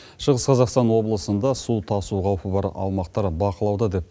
шығыс қазақстан облысында су тасу қаупі бар аумақтар бақылауда деп